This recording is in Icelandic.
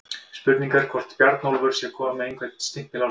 Spurning er hvort Bjarnólfur sé kominn með einhvern stimpil á sig?